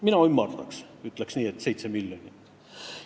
Mina ümardaks ja ütleks, et 7 miljonit.